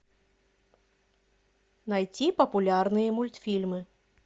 найти популярные мультфильмы